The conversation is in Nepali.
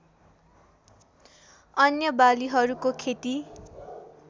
अन्य बालीहरूको खेती